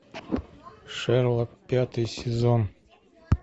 шерлок пятый сезон